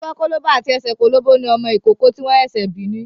Ọwọ́ kólóbó àti ẹsẹ̀ kólóbó ni ọmọ ìkókó tí wọ́n ṣẹ̀ṣẹ̀ bí ni.